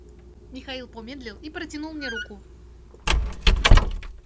михаил помедлил и протянул мне руку